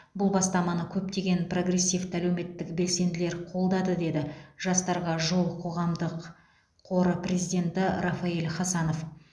бұл бастаманы көптеген прогрессивті әлеуметтік белсенділер қолдады деді жастарға жол қоғамдық қоры президенті рафаэль хасанов